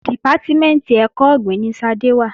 Dìpátímẹ̀ntì ẹ̀kọ́ ọ̀gbìn ni Ṣadé wà